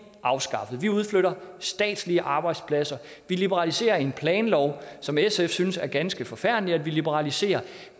afskaffet vi udflytter statslige arbejdspladser vi liberaliserer en planlov som sf synes er ganske forfærdelig at vi liberaliserer